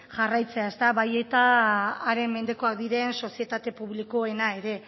jarraitzea bai eta haren mendekoak diren sozietate publikoena ere